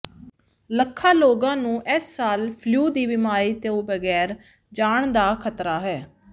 ਲੱਖਾਂ ਲੋਕਾਂ ਨੂੰ ਇਸ ਸਾਲ ਫਲੂ ਦੀ ਬਿਮਾਰੀ ਤੋਂ ਬਗੈਰ ਜਾਣ ਦਾ ਖਤਰਾ ਹੈ